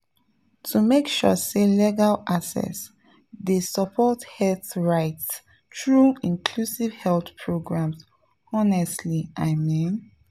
to make sure say legal access dey support health rights through inclusive health programs honestly i mean.